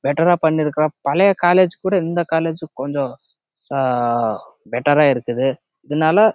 better ஆஹ் பனிருக்குறான் பழைய காலேஜ் ஆஹ் விட இந்த காலேஜ் பெட்டெர் ஆஹ் இருக்குது